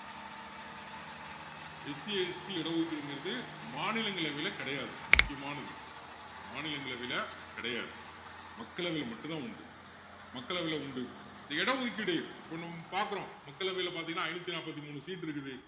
SCST இட ஒதுக்கீடுங்கறது மாநிலங்களவையில கிடையாது முக்கியமானது மாநிலங்களவையில கிடையாது மக்களவையில மட்டும் தான் உண்டு மக்களவையில உண்டு இந்த இட ஒதுக்கீடு இப்போ நம்ம பாக்குறோம் மக்களவையில பாத்தீங்கன்னா ஐநூத்தி நாப்பத்தி மூணு seat உ இருக்குது